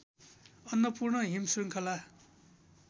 अन्नपूर्ण हिम श्रृङ्खला